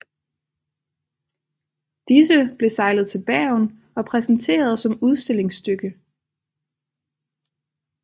Disse blev sejlet til Bergen og præsenteret som udstillingsstykke